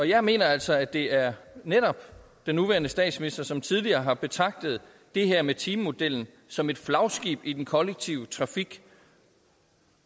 jeg mener altså at det er netop den nuværende statsminister som tidligere har betragtet det her med timemodellen som et flagskib i den kollektive trafik